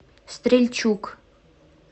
стрельчук